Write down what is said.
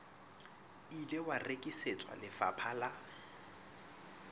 ile wa rekisetswa lefapha la